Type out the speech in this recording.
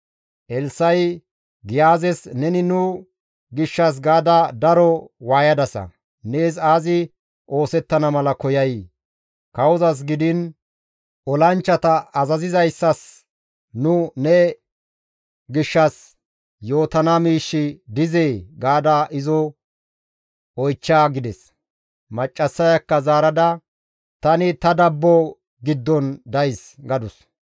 Elssa7i, «Giyaazes, ‹Neni nu gishshas gaada daro waayadasa; nees aazi oosettana mala koyay? Kawozas gidiin olanchchata azazizayssas nu ne gishshas yootana miishshi dizee?› gaada izo oychcha» gides. Maccassayakka zaarada, «Tani ta dabbo giddon days» gadus.